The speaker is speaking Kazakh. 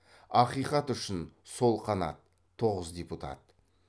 ақиқат үшін сол қанат тоғыз депутат